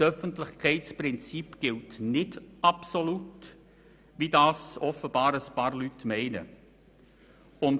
Das Öffentlichkeitsprinzip gilt nicht absolut, wie das offenbar einige Leute glauben.